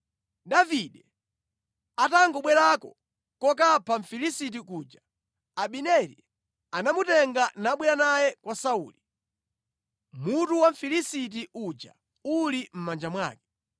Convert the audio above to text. Davide atangobwerako kokapha Mfilisiti kuja, Abineri anamutenga nabwera naye kwa Sauli, mutu wa Mfilisiti uja uli mʼmanja mwake.